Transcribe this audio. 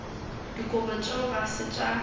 dikobo tšeo ga se tša